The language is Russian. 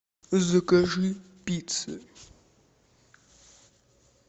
закажи пиццы